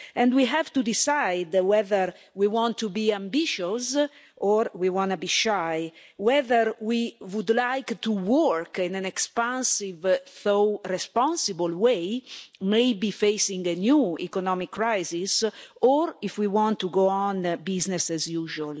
We have to decide whether we want to be ambitious or shy, and whether we would like to work in an expansive though responsible way, maybe facing a new economic crisis, or if we want to go on with business as usual.